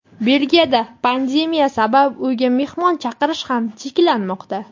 Belgiyada pandemiya sabab uyga mehmon chaqirish ham cheklanmoqda.